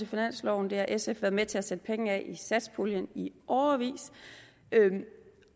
i finansloven det har sf været med til at sætte penge af til i satspuljen i årevis